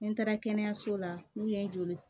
Ni n taara kɛnɛyaso la n'u ye joli